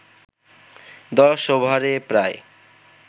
১০ ওভারে প্রায়